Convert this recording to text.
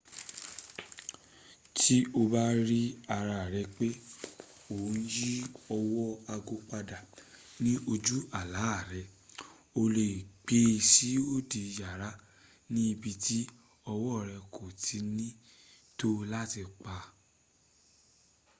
tí o bá rí ara rẹ pé ò ń yí ọwọ́ ago padà ní ojú àlá rẹ o le è gbé sí òdi kejì yàrá ní ibi tí ọwọ́ rẹ̀ kò tí ni to o láti pa á